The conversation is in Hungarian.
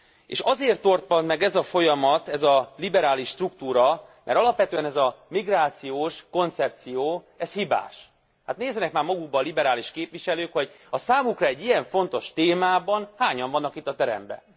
És azért torpant meg ez a folyamat, ez a liberális struktúra, mert alapvetően ez a migrációs koncepció ez hibás. Hát nézzenek már magukba a liberális képviselők, hogy a számukra egy ilyen fontos témában hányan vannak jelen itt a teremben!